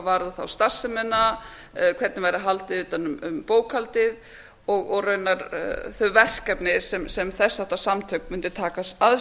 varðar starfsemina hvernig væri haldið utan um bókhaldið og raunar þau verkefni sem þess háttar samtök mundu taka að